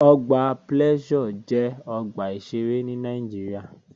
Ọgbà Pleasure jẹ́ ọgbà ìṣeré ní Nàìjíríà